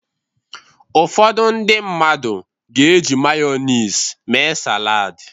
Ụfọdụ ndị mmadụ ga-eji Mayọnis mee salad.